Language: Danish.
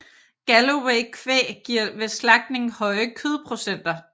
Gallowaykvæg giver ved slagtning høje kødprocenter